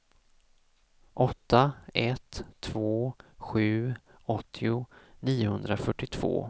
åtta ett två sju åttio niohundrafyrtiotvå